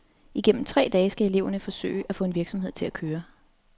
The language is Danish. Igennem tre dage skal eleverne forsøge at få en virksomhed til at køre.